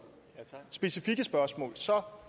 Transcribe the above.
i specifikke spørgsmål